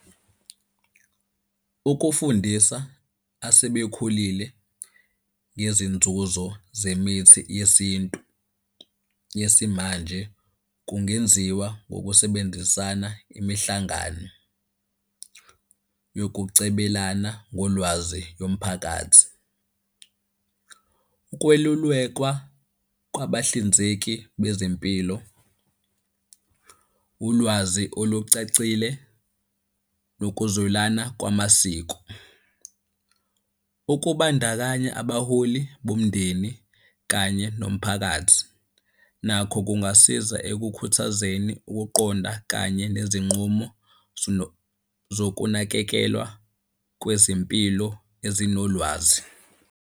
Ukufundisa asebekhulile ngezinzuzo zemithi yesintu yesimanje kungenziwa ngokusebenzisana imihlangano yokucebelana ngolwazi yomphakathi, Ukwelulekwa kwabahlinzeki bezempilo, ulwazi olucacile nokuzwelana kwamasiko. Okubandakanya abaholi bomndeni kanye nomphakathi nakho kungasiza ekukhuthazeni ukuqonda kanye nezinqumo zokunakekelwa kwezempilo ezinolwazi.